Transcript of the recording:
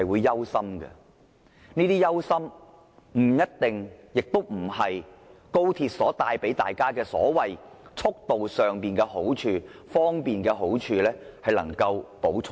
這些令我們憂心的事，並非高鐵帶來的所謂好處和便捷所能彌補的。